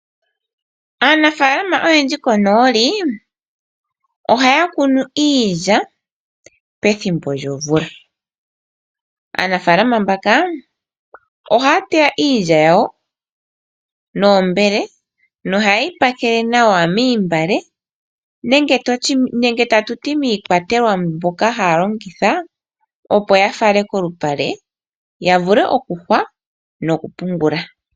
Aanafalama oyendji konooli ohaya kunu iilya pethimbo lyomvula. Aanafaalama mbaka ohaya teya iilya yawo noombele nohaye yi pakele moontungwa nenge tutye miikwatelwa mbyoka haya longitha, opo ya fale kolupale ya vule okuyungula nokupungula.